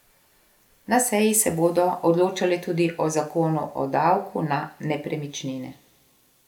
Na seji se bodo odločali tudi o zakonu o davku na nepremičnine.